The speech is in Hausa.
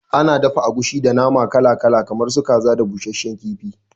Ana dafa agushi da nama kala kala kamar su kaza da busasshen kifi